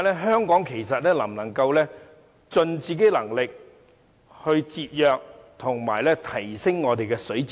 香港能否盡自己能力節約和提升我們的水資源？